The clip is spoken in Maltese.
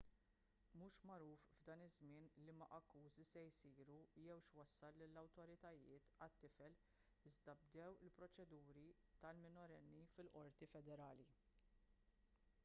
mhux magħruf f'dan iż-żmien liema akkużi se jsiru jew x'wassal lill-awtoritajiet għat-tifel iżda bdew il-proċeduri tal-minorenni fil-qorti federali